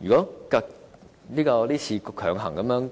如果這次強行